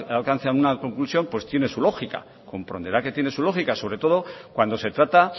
alcance una conclusión pues tiene su lógica comprenderá que tiene su lógica sobre todo cuando se trata